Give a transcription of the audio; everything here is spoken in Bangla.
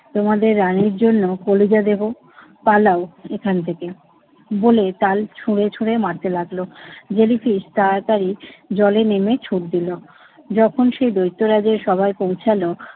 তোমাদের রানীর জন্য কলিজা দেবো। পালাও এখান থেকে, বলে তাল ছুঁড়ে ছুঁড়ে মারতে লাগলো। জেলিফিশ তাড়াতাড়ি জলে নেমে ছুট দিল যখন সে দৈত্যরাজের সভায় পৌঁছালো